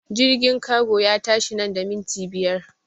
Jirgin kago ya tashi nan da minti biyar!